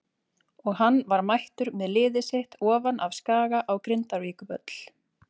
Og hann var mættur með liðið sitt ofan af Skaga á Grindavíkurvöll.